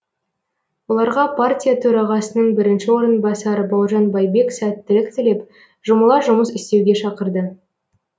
оларға партия төрағасының бірінші орынбасары бауыржан байбек сәттілік тілеп жұмыла жұмыс істеуге шақырды